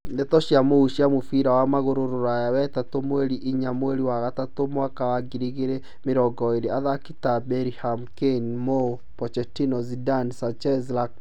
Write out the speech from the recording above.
Ndeto cia mũhuhu cia mũbira wa magũrũ Rũraya wetatũ mweri inya mweri wa gatatũ mwaka wa ngiri igĩrĩ mĩrongo ĩrĩ athaki ta Bellingham, Kane, Moue, Pochettino, Zidane, Sanchez, Rakitic